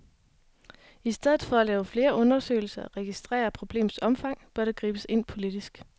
I stedet for at lave flere undersøgelser og registrere problemets omfang, bør der gribes ind politisk.